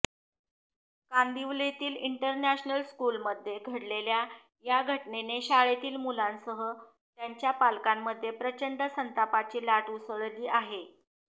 कांदिवलीतील international स्कूलमध्ये घडलेल्या या घटनेने शाळेतील मुलांसह त्यांच्या पालकांमध्ये प्रचंड संतापाची लाट उसळली आहे